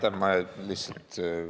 Aitäh!